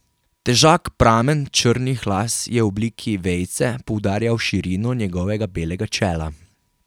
Težak pramen črnih las je v obliki vejice poudarjal širino njegovega belega čela.